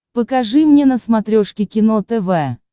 покажи мне на смотрешке кино тв